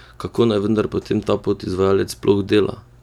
Kako naj vendar potem ta podizvajalec sploh dela?